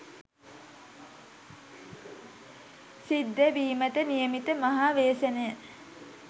සිද්ධ වීමට නියමිත මහා ව්‍යසනය